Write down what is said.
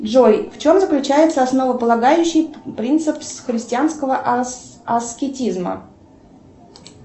джой в чем заключается основополагающий принцип христианского аскетизма